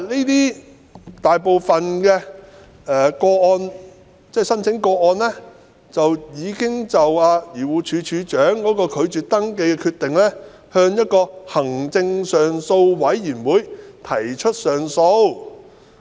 大部分遭拒絕的申請已經就漁護署署長拒絕登記的決定向行政上訴委員會提出上訴。